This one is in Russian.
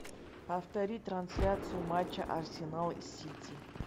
повтори трансляцию матча арсенал сити